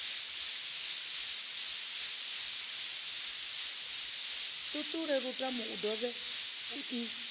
ṱuṱule lutamo i dovhe i